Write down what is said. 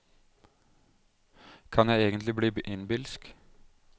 Kan jeg egentlig bli innbilsk?